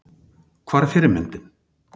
Hvar er fyrirmyndin?